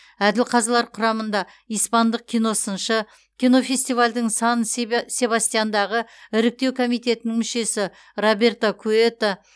әділ қазылар құрамында испандық киносыншы кинофестивальдің сан себастьяндағы іріктеу комитетінің мүшесі роберто куэто